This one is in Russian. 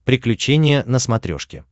приключения на смотрешке